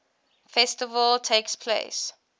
festival takes place